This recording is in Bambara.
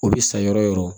O bɛ sa yɔrɔ o yɔrɔ